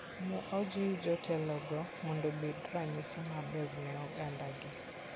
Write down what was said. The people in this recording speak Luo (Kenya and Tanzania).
Ne ojiw jotelogo mondo obed ranyisi maber ne ogandagi.